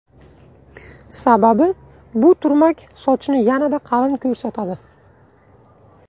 Sababi bu turmak sochni yanada qalin ko‘rsatadi.